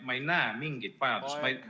Ma ei näe mingit vajadust.